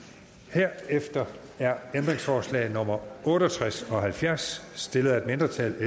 herefter er ændringsforslag nummer otte og tres og nummer halvfjerds stillet af et mindretal